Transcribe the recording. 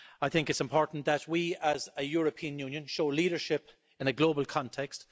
I think it's important that we, as a European Union, show leadership in a global context.